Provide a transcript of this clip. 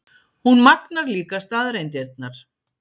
Hún magnar líka staðreyndirnar.